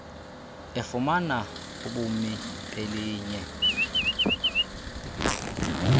efumana ubumi belinye